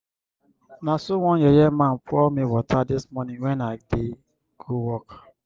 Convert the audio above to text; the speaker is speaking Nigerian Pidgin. na so one yeye man pour me water dis morning wen i dey go work.